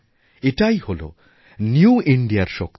এটাই হল নিউ Indiaর সক্তি